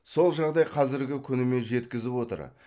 сол жағдай қазіргі күніме жеткізіп отыр